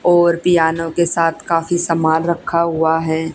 और पीयानो के साथ काफी सामान रखा हुआ है।